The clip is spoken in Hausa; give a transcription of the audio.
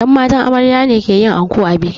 Yan matan amarya ne ke yin anko a biki